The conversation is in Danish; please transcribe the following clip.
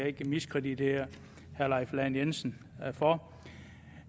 ikke miskreditere herre leif lahn jensen for